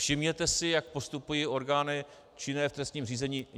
Všimněte si, jak postupují orgány činné v trestním řízení.